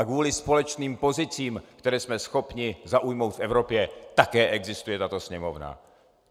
A kvůli společným pozicím, které jsme schopni zaujmout v Evropě, také existuje tato Sněmovna.